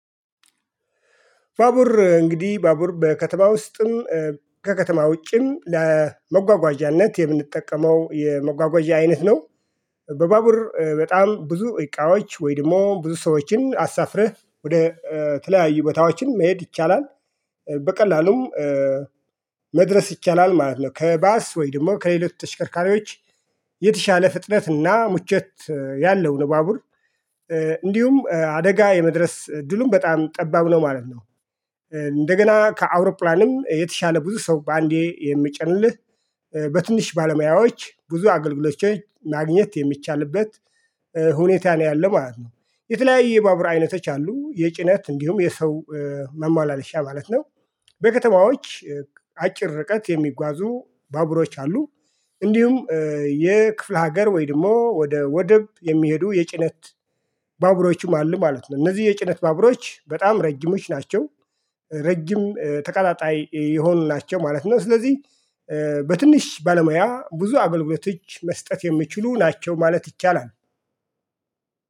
ባቡር እንግዲህ ባቡር በከተማ ውስጥም ከከተማ ውጭም ለመጓጓዣነት የምንጠቀመው የመጓጓዣ አይነት ነው። በባቡር በጣም ብዙ እቃዎች ወይ ደግሞ ብዙ ሰዎችን አሳፍርህ ወደ ተለያዩ ቦታዎችን መሄድ ይቻላል። በቀላሉም መድረስ ይቻላል ማለት ነው። ከባስ ወይ ደግሞ ከሌሎች ተሽከርካሪዎች የተሻለ ፍጥነትና ምቾት ያለው ነው። ባቡር እንዲሁም አደጋ የመድረስ እድሉ በጣም ጠባብ ነው ማለት ነው። እንደገና ከአውሮፕላንም የተሻለ ብዙ ሰው በአንዴ የሚጭንልህ በትንሽ ባለሙያዎች ብዙ አገልግሎቶች ማግኘት የሚቻልበት ሁኔታ ነው ያለው ማለት ነው። የተለያየ ባቡር አይነቶች አሉ የጭነት እንዲሁም የሰው ማመላለሻ ማለት ነው። በከተማዎች አጭር ርቀት የሚጓዙ ባቡሮች አሉ። እንዲሁም የክፍለ ሀገር ወይ ድሞ ወደ ወደብ የሚሄዱ የጭነት ባቡሮቹም አሉ ማለት ነው። እነዚህ የጭነት ባቡሮች በጣም ረጅሞች ናቸው። ረጅም ተቀጣጣይ የሆኑ ናቸው ማለት ነው። ስለዚህ በትንሽ ባለሙያ ብዙ አገልግሎቶች መስጠት የሚችሉ ናቸው ማለት ይቻላል።